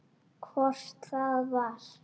Hvort það var!